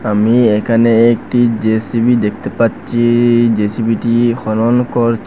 আমি এখানে একটি জে_সি_বি দেখতে পাচ্ছি জেসিবিটি খনন করছ--